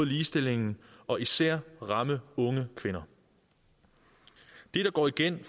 ligestillingen og især ramme unge kvinder det der går igen